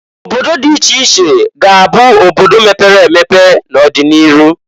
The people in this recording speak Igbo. Obodo dị iche iche ga- abụ obodo mepere emepe n'odị n'iru.